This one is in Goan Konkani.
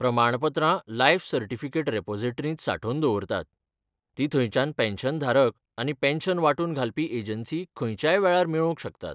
प्रमाणपत्रां लायफ सर्टिफिकेट रिपोसिटरींत सांठोवन दवरतात, तीं थंयच्यान पॅन्शनधारक आनी पॅन्शन वांटून घालपी एजंसी खंयच्याय वेळार मेळोवंक शकतात.